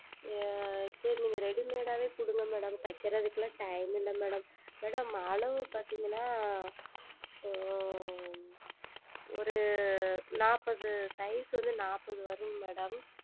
சரி நீங்கள் Readymade ஆவே கொடுங்கள் Madam தைப்பதற்கு எல்லாம் Time இல்லை Madam Madam அளவு பார்த்தீர்கள் என்றால் ஓர் நாட்பது Size வந்து நாட்பது வரும் Madam